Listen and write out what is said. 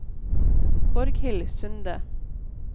Borghild Sunde